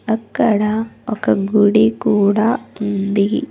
అక్కడ ఒక గుడి కూడా ఉంది.